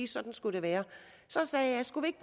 sådan skulle det være og så sagde jeg skulle vi